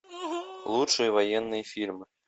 лучшие военные фильмы